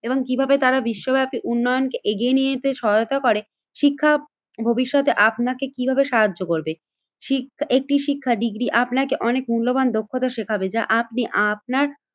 এবং কিভাবে তারা বিশ্বব্যাপী উন্নয়নকে এগিয়ে নিয়ে যেতে সহায়তা করে। শিক্ষা ভবিষ্যতে আপনাকে কিভাবে সাহায্য করবে? শি একটি শিক্ষা ডিগ্রী আপনাকে অনেক মূল্যবান দক্ষতা শেখাবে। যা আপনি আপনার